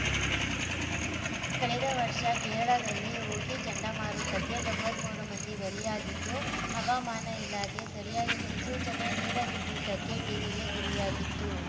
ಕಳೆದ ವರ್ಷ ಕೇರಳದಲ್ಲಿ ಓಖಿ ಚಂಡಮಾರುತಕ್ಕೆ ತೊಂಬತ್ತ್ ಮೂರು ಮಂದಿ ಬಲಿಯಾಗಿದ್ದು ಹವಾಮಾನ ಇಲಾಖೆ ಸರಿಯಾದ ಮುನ್ಸೂಚನೆ ನೀಡದಿದ್ದುದಕ್ಕೆ ಟೀಕೆಗೆ ಗುರಿಯಾಗಿತ್ತು